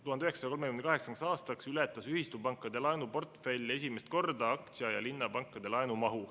1938. aastal ületas ühistupankade laenuportfell esimest korda aktsia- ja linnapankade laenumahu.